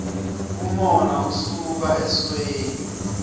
umona usuka esweni